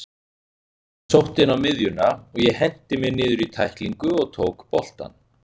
Hann sótti inn á miðjuna og ég henti mér niður í tæklingu og tók boltann.